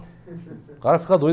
O cara fica doido.